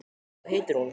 Hvað heitir hún?